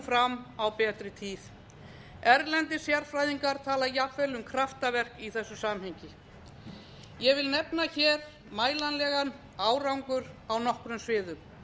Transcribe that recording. fram á betri tíð erlendir sérfræðingar tala jafnvel um kraftaverk í þessu samhengi ég vil nefna hér mælanlegan árangur á nokkrum sviðum